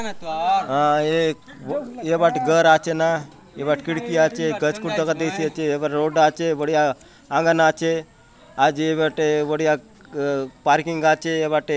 आ ये बाटे घर आचे न ये बाट खिड़की आचे गट कूच दगा दइसे ये बट रोड आचे बड़िया आँगन आचे आचे बटे बड़िया अ पार्किंग आचे ये बाटे --